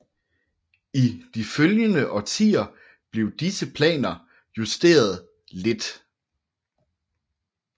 I de følgende årtier blev disse planer kun justeret lidt